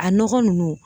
A nɔgɔ nunnu